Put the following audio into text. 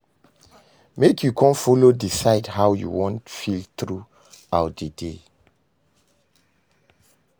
Mek you con follow decide how yu wan feel thru out dat day